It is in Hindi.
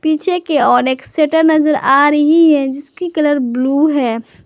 पीछे के ओर एक शटर नजर आ रही है जिसकी कलर ब्लू है।